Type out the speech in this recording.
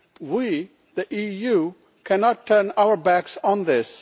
We, the EU, cannot turn our backs on this.